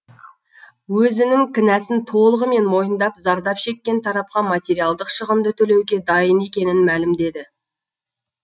өзінің кінәсін толығымен мойындап зардап шеккен тарапқа материалдық шығынды төлеуге дайын екенін мәлімдеді